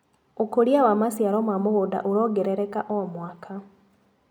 ũkũria wa maciaro ma mũgunda ũrongerereka o mwaka.